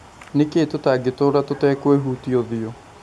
Nĩkĩĩ tũtangĩtũra tũtekwĩhutia ũthiũ?